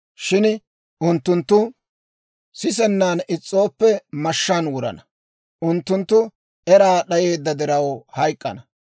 Shin unttunttu sisennan is's'ooppe, mashshaan wurana; unttunttu eraa d'ayeedda diraw hayk'k'ana.